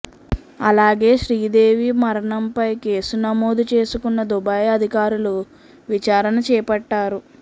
అలాగే శ్రీదేవి మరణం పై కేసు నమోదు చేసుకున్నదుబాయ్ అధికారులు విచారణ చేపట్టారు